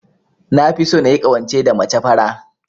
Nafi so nayi ƙawance da mace fara.